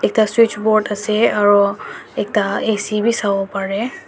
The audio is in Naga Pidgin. ekta switchboard ase aro ekta AC wi sawo pareh.